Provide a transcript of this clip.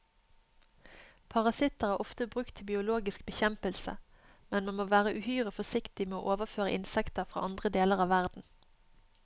Parasitter er ofte brukt til biologisk bekjempelse, men man må være uhyre forsiktig med å overføre insekter fra andre deler av verden.